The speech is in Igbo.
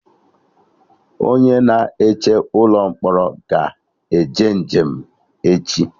Onye na eche ụlọ mkpọrọ ga-eje njem echi